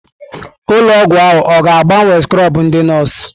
Ụlọ ọgwụ ahụ ọ ga-agbanwe skrọbụ ndị nọọsụ?